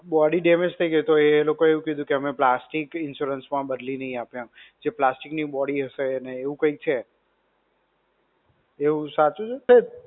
Body damage થઇ ગઈ તો એલોકોએ એવું કીધું કે અમે plastic insurance માં બદલી નહિ આપીએ એમ. જે plastic ની body હશે ને એવું કંઈક છે. એવું સાચું છે?